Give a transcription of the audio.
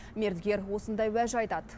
мердігер осындай уәж айтады